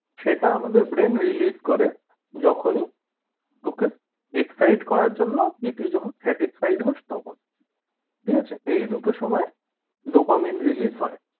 সেটা আমাদের brain relief করে যখনি তোকে excite করার জন্য কি তুই যখন satisfied হোস তখন ঠিক আছে এই দুটো সময় dopamine release হয়